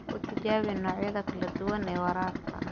Ku tijaabi noocyada kala duwan ee waraabka.